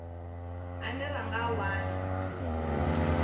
ane ra nga a wana